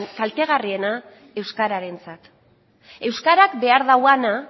kaltegarriena euskararentzat euskarak behar duena